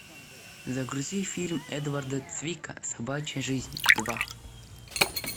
загрузи фильм эдварда цвика собачья жизнь два